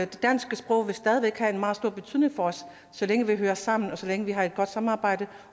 det danske sprog vil stadig væk have en meget stor betydning for os så længe vi hører sammen og så længe vi har et godt samarbejde